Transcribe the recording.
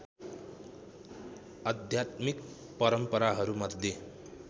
आध्यात्मिक परम्पराहरू मध्ये